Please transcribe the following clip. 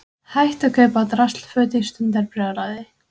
Hætt að kaupa draslföt í stundarbrjálæði